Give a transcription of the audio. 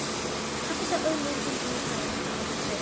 Pabbi sá auglýsingu í blaði um hvolpa til sölu.